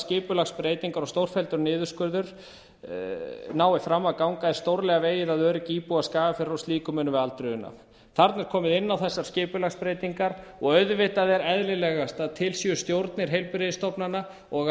skipulagsbreytingar og stórfelldur niðurskurður ná fram að ganga er stórlega vegið að öryggi íbúa skagafjarðar og slíku munum við aldrei una þarna er komið inn á þessar skipulagsbreytingar og auðvitað er eðlilegast að til séu stjórnir heilbrigðisstofnana og